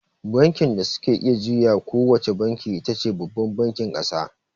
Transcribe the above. Bankin da suke iya juya ko wace banki itace babban bankin ƙasa.